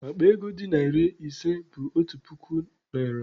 Akpa ego dị narị ise bụ otu narị puku naịra.